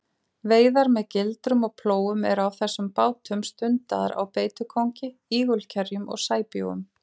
Veiðar með gildrum og plógum eru á þessum bátum stundaðar á beitukóngi, ígulkerjum og sæbjúgum.